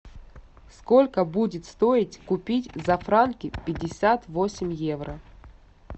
сколько будет стоить купить за франки пятьдесят восемь евро